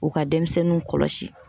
O ka denmisɛnninw kɔlɔsi